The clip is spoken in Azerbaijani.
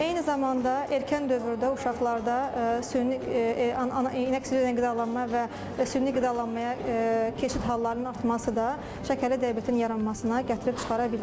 Eyni zamanda erkən dövrdə uşaqlarda süni qidalanma və süni qidalanmaya keçid hallarının artması da şəkərli diabetin yaranmasına gətirib çıxara bilir.